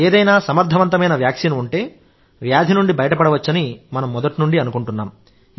ఏదైనా సమర్థవంతమైన వ్యాక్సిన్ ఉంటే వ్యాధి నుండి బయటపడవచ్చని మనం మొదటి నుండి అనుకుంటున్నాం